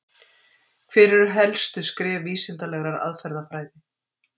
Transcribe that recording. Hver eru helstu skref vísindalegrar aðferðafræði?